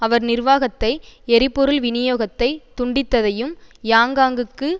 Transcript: அவர் நிர்வாகத்தை எரிபொருள் விநியோகத்தை துண்டித்ததையும் யாங்யாங்குக்கு